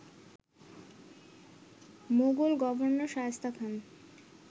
Mughal governor Shaista Khan